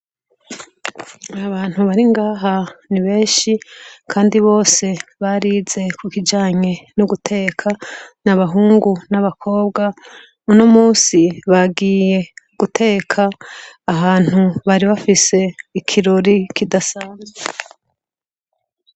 Abantu bari ngaha nibenshi kandi bose barize kukijanye no guteka n' abahungu n' abakobwa unomusi bagiye guteka ahantu bari bafise ikirori kidasanzwe.